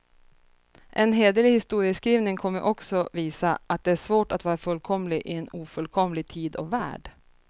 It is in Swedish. En hederlig historieskrivning kommer också visa, att det är svårt att vara fullkomlig i en ofullkomlig tid och värld.